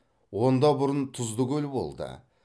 онда бұрын тұзды көл болды